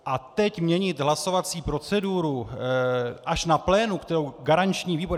A teď měnit hlasovací proceduru až na plénu, kterou garanční výbor...